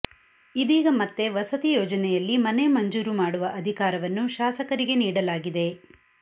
ಇದೀಗ ಮತ್ತೆ ವಸತಿ ಯೋಜನೆಯಲ್ಲಿ ಮನೆ ಮಂಜೂರು ಮಾಡುವ ಅಧಿಕಾರವನ್ನು ಶಾಸಕರಿಗೆ ನೀಡಲಾಗಿದೆ